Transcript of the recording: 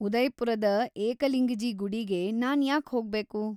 ಉದಯ್‌ಪುರದ ಏಕಲಿಂಗಜೀ ಗುಡಿಗೆ ನಾನ್‌ ಯಾಕ್ ಹೋಗ್ಬೇಕು?